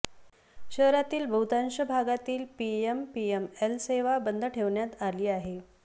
शहरातील बहुतांश भागातील पीएमपीएमएल सेवा बंद ठेवण्यात आली आहे